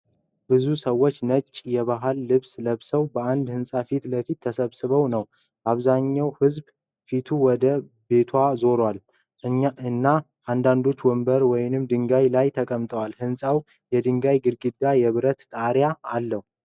ብዙ ሰዎች ነጭ የባህል ልብስ ለብሰው በአንድ ህንፃ ፊት ለፊት ተሰብስበው ነው። አብዛኛው ህዝብ ፊቱ ወደ ቤቱ ዞሯል፣ እና አንዳንዶቹ ወንበሮች ወይም ድንጋዮች ላይ ተቀምጠዋል። ሕንፃው የድንጋይ ግድግዳና የብረት ጣሪያ አለው።